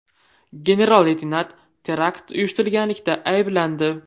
General-leytenant terakt uyushtirganlikda ayblandi .